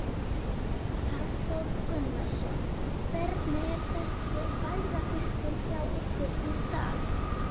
Hafþór Gunnarsson: Hvernig er þessi færafiskur hjá ykkur í dag?